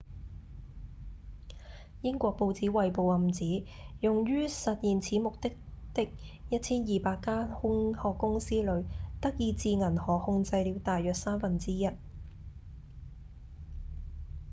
英國報紙《衛報》暗指用於實現此目的的 1,200 間空殼公司裡德意志銀行控制了大約三分之一